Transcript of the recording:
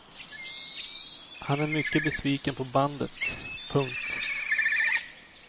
Han är mycket besviken på bandet. punkt